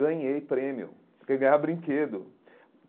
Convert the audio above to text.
Ganhei prêmio, porque ganhava brinquedo.